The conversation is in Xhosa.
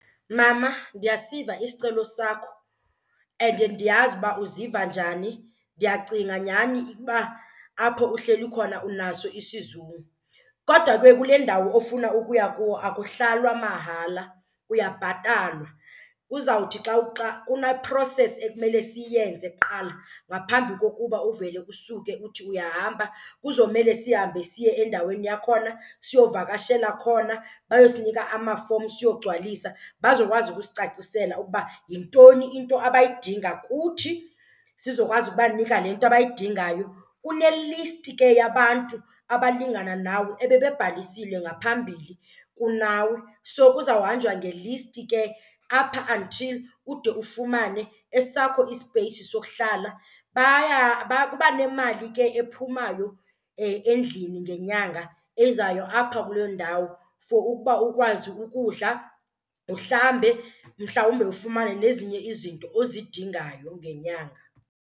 Mama, ndiyasiva isicelo sakho and ndiyazi uba uziva njani. Ndiyacinga nyhani ukuba apho uhleli khona unaso isizungu. Kodwa ke kule ndawo ofuna ukuya kuyo akuhlalwa mahala kuyabhatalwa. Kuzawuthi xa kune-process ekumele siyenze kuqala ngaphambi kokuba uvele usuke uthi uyahamba. Kuzomele sihambe siye endaweni yakhona siyovakashela khona, bayosinika ama-forms siyogcwalisa bazokwazi ukusicacisela ukuba yintoni into abayidinga kuthi sizokwazi ukubanika le nto abayidingayo. Kune-list ke yabantu abalingana nawe ebebebhalisile ngaphambili kunawe, so kuzawuhanjwa nge-list ke apha until ude ufumane esakho isipeyisi sokuhlala. Baya kuba nemali ke ephumayo endlini ngenyanga ezayo apho kuloo ndawo for ukuba ukwazi ukudla, uhlambe, mhlawumbe ufumane nezinye izinto ozidingayo ngenyanga.